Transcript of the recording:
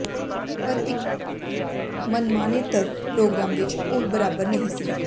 ਪਰ ਇਕ ਮਨਮਾਨੇਤਰ ਪ੍ਰੋਗਰਾਮ ਵਿਚ ਉਹ ਬਰਾਬਰ ਨਹੀਂ ਸੀ